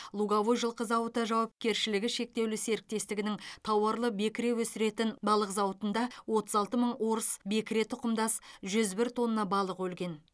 луговой жылқы зауыты жауапкершілігі шектеулі серіктестігінің тауарлы бекіре өсіретін балық зауыты зауытында отыз алты мың орыс бекіре тұқымдас жүз бір тонна балық өлген